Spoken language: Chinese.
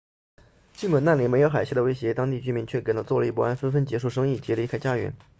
尽管那里没有海啸的威胁当地居民却感到坐立不安纷纷结束生意及离开家园